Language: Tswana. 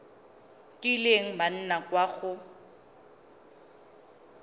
kileng ba nna kwa go